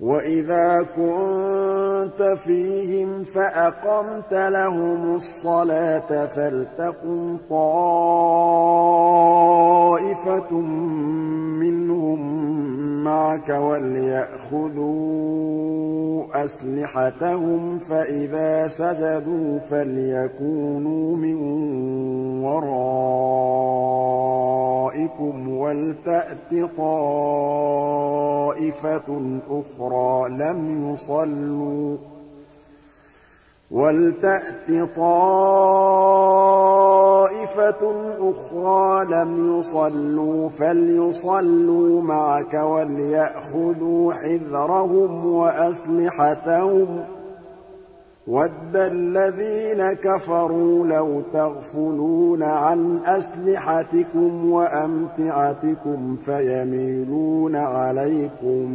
وَإِذَا كُنتَ فِيهِمْ فَأَقَمْتَ لَهُمُ الصَّلَاةَ فَلْتَقُمْ طَائِفَةٌ مِّنْهُم مَّعَكَ وَلْيَأْخُذُوا أَسْلِحَتَهُمْ فَإِذَا سَجَدُوا فَلْيَكُونُوا مِن وَرَائِكُمْ وَلْتَأْتِ طَائِفَةٌ أُخْرَىٰ لَمْ يُصَلُّوا فَلْيُصَلُّوا مَعَكَ وَلْيَأْخُذُوا حِذْرَهُمْ وَأَسْلِحَتَهُمْ ۗ وَدَّ الَّذِينَ كَفَرُوا لَوْ تَغْفُلُونَ عَنْ أَسْلِحَتِكُمْ وَأَمْتِعَتِكُمْ فَيَمِيلُونَ عَلَيْكُم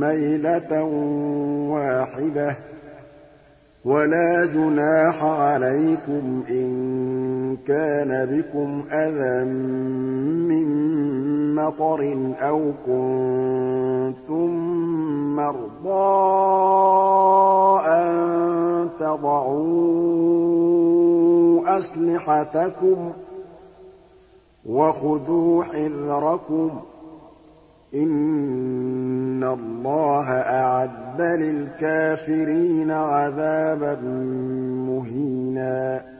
مَّيْلَةً وَاحِدَةً ۚ وَلَا جُنَاحَ عَلَيْكُمْ إِن كَانَ بِكُمْ أَذًى مِّن مَّطَرٍ أَوْ كُنتُم مَّرْضَىٰ أَن تَضَعُوا أَسْلِحَتَكُمْ ۖ وَخُذُوا حِذْرَكُمْ ۗ إِنَّ اللَّهَ أَعَدَّ لِلْكَافِرِينَ عَذَابًا مُّهِينًا